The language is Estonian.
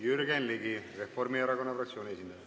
Jürgen Ligi, Reformierakonna fraktsiooni esindaja.